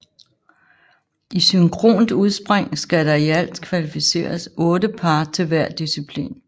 I synkront udspring skal der i alt kvalificeres 8 par til hver disciplin